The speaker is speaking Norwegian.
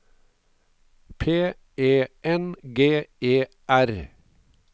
P E N G E R